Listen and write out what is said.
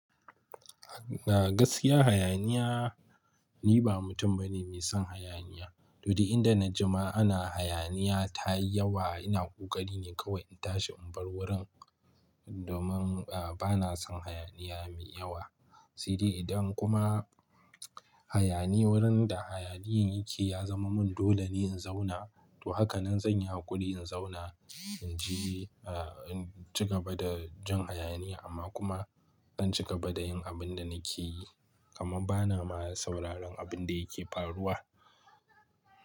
Na gaskiya hayaniya, ni ba mutum bane mai son hayaniya. Lodi idan na ji ma ana hayaniya ta yi yawa, ina ƙoƙari ne kawai in tashi in bar wurin, domin, a, ba na son hayaniya mai yawa. Sai dai idan kuma hayani wurin da hayaniyen yake ya zama mun dole ne in zauna, to haka nan zan yi hakuri in zauna, in ji, a, in ci gaba da jin hayaniya amma kuma in ci gaba da yin abin da nake yi. Kaman ba na ma sauraron abin da yake faruwa.